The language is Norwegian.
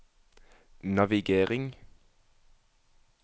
navigering